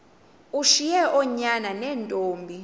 ushiye oonyana neentombi